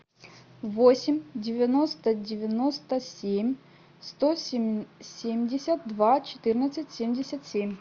восемь девяносто девяносто семь сто семьдесят два четырнадцать семьдесят семь